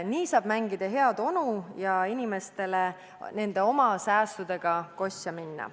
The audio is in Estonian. Nii saab mängida head onu ja inimestele nende oma säästudega kosja minna.